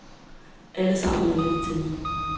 Alle sammen ringer de til mig.